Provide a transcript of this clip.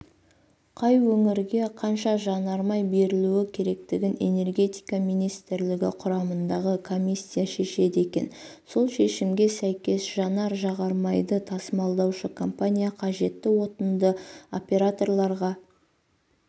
қай өңірге қанша жанармай берілуі керектігін энергетика министрлігі құрамындағы комиссия шешеді екен сол шешімге сәйкес жанар-жағармайды тасымалдаушы компания қажетті отынды операторларға